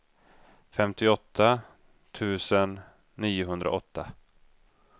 femtioåtta tusen niohundraåtta